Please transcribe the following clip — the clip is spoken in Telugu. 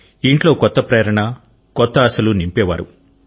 ఇంట్లో కొత్త ప్రేరణ కొత్త ఆశలు నింపేవారు